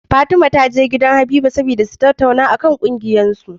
Fatima taje gidan Habiba saboda tattaunawa akan kungiyar su